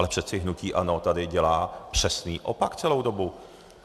Ale přece hnutí ANO tady dělá přesný opak celou dobu.